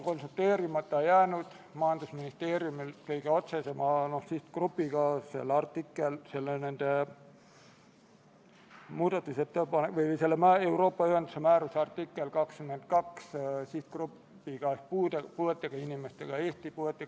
11. päevakorrapunkt on Vabariigi Valitsuse esitatud Riigikogu otsuse "Kaitseväe kasutamise tähtaja pikendamine Eesti riigi rahvusvaheliste kohustuste täitmisel väljaõppe- ja nõustamismissioonil Afganistanis" eelnõu 72 teine lugemine.